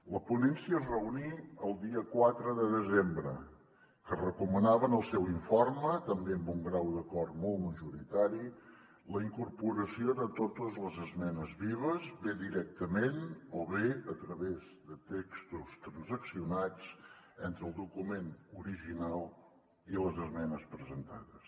la ponència es reuní el dia quatre de desembre que recomanava en el seu informe també amb un grau d’acord molt majoritari la incorporació de totes les esmenes vives bé directament o bé a través de textos transaccionats entre el document original i les esmenes presentades